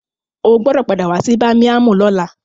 O gbọdọ̀ padà wá sí bámíámù lọ́la.